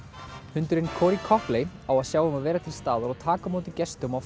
hundurinn Cori Copley á að sjá um að vera til staðar og taka á móti gestum á